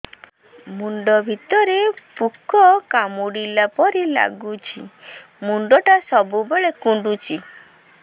ମୁଣ୍ଡ ଭିତରେ ପୁକ କାମୁଡ଼ିଲା ପରି ଲାଗୁଛି ମୁଣ୍ଡ ଟା ସବୁବେଳେ କୁଣ୍ଡୁଚି